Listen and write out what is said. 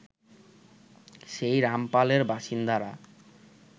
সেই রামপালের বাসিন্দারা